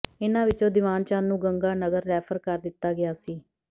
ਇਨ੍ਹਾਂ ਵਿੱਚੋਂ ਦੀਵਾਨ ਚੰਦ ਨੂੰ ਗੰਗਾਨਗਰ ਰੈਫਰ ਕਰ ਦਿੱਤਾ ਗਿਆ ਸੀ